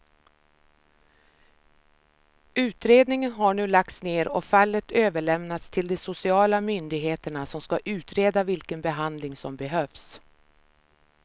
Utredningen har nu lagts ner och fallet överlämnats till de sociala myndigheterna som ska utreda vilken behandling som behövs.